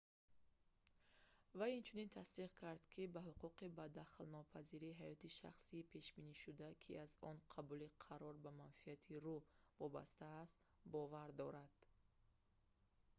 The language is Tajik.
вай инчунин тасдиқ кард ки ба ҳуқуқи ба дахолатнопазирии ҳаёти шахсӣ пешбинишуда ки аз он қабули қарор ба манфиати ру вобаста аст бовар дорад